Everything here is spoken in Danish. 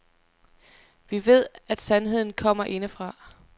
Vi ved, at sandheden kommer indefra.